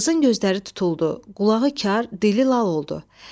Qızın gözləri tutuldu, qulağı kar, dili lal oldu.